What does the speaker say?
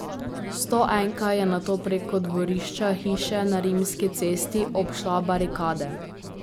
Stoenka je nato preko dvorišča hiše na Rimski cesti obšla barikade.